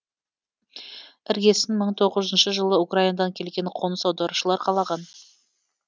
іргесін мың тоғызыншы жылы украинадан келген қоныс аударушылар қалаған